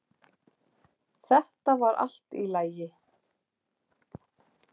Þetta var allt í lagi